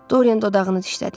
Dorian dodağını dişlədi.